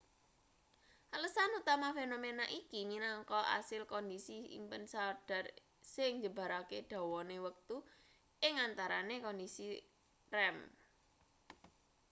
alesan utama fenomena iki minangka asil kondisi impen sadhar sing njembarake dawane wektu ing antarane kondisi rem